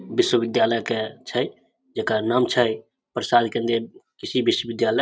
विश्वविद्यालय के छै जेकर नाम छै प्रसाद केन्दीय कृषि विश्वविद्यालय।